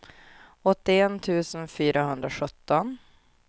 åttioett tusen fyrahundrasjutton